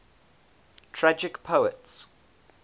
tragic poets